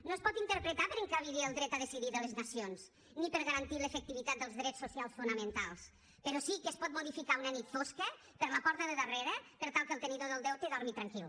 no es pot interpretar per encabir hi el dret a decidir de les nacions ni per garantir l’efectivitat dels dret socials fonamentals però sí que es pot modificar una nit fosca per la porta de darrere per tal que el tenidor del deute dormi tranquil